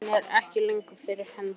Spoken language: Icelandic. Áhuginn er ekki lengur fyrir hendi.